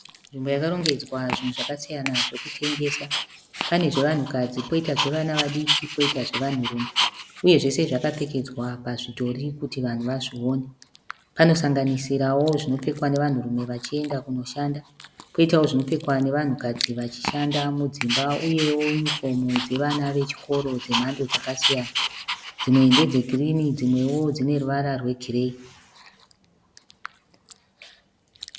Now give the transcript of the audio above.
Nzimbo yakarongedzwa zvinhu zvakasiyana zvekutengesa pane zve vanhu kadzi koita zvevana vadiki poita zvevanhu rune uye zvese zvakapfekedzwa pazvidhori kuti vanhu vazvione panosanganisirawo zvinopfekwa nevanhu rume wachienda kunoshanda koitawo zvinopfekwa nevanhu kadzi vachishanda mudzimba uyewo yunifomu dzevana wechikoro dzemhando dzakasiyana dzimwe endedzegirini dzimwewo dzeruvara rwegirei